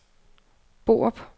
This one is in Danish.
Borup